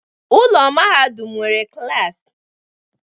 Ụlọ mahadum nwere klas